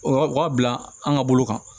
O o waa bila an ka bolo kan